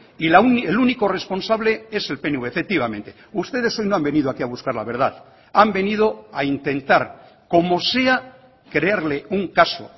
y el único responsable es el pnv efectivamente ustedes hoy no han venido aquí a buscar la verdad han venido a intentar como sea crearle un caso